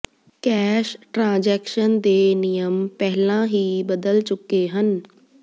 cash transaction ਦੇ ਨਿਯਮ ਪਹਿਲਾਂ ਹੀ ਬਦਲ ਚੁੱਕੇ ਹਨ